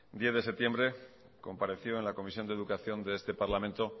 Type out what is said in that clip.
diez de septiembre compareció en la comisión de educación de este parlamento